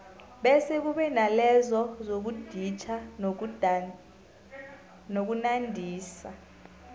bese kube nalezo zokuditjha nokunandisa